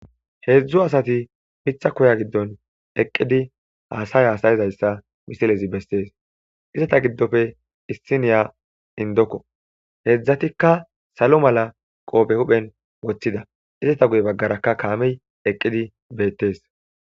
Hezdzdu asati miththa kuwa gidon eqidi hasay hasayidayssa missilezi besses izeta gidoppe issiniya indokko hezdzdatikka salo mala qofe huphphen woththida izeta guye baggarakka kammey eqidi bettes